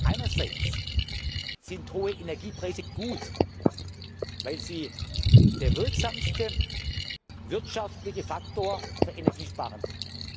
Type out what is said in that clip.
Einerseits sind hohe Energiepreise gut, weil sie der wirksamste wirtschaftliche Faktor für das Energiesparen